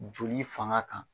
Joli fanga kan.